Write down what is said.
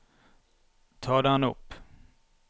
ta den opp